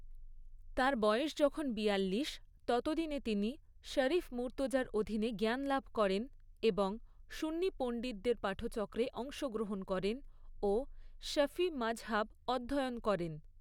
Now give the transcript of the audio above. তাঁর বয়স যখন বিয়াল্লিশ, ততদিনে তিনি শরীফ মুর্তজার অধীনে জ্ঞানলাভ করেন এবং সুন্নি পণ্ডিতদের পাঠচক্রে অংশগ্রহণ করেন ও শাফিঈ মাজহাব অধ্যয়ন করেন।